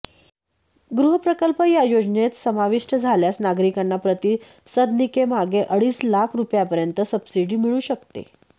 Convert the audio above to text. गृहप्रकल्प या योजनेत समाविष्ट झाल्यास नागरिकांना प्रति सदनिकेमागे अडीच लाख रुपयांपर्यंत सबसिडी मिळू शकते